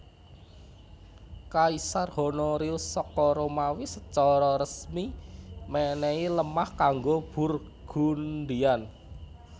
Kaisar Honorius saka Romawi secara resmi menehi lemah kanggo Burgundian